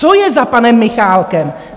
Co je za panem Michálkem?